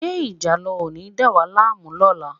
Ṣé ìjàlọ ò ní dà wá láàmú lọ́la?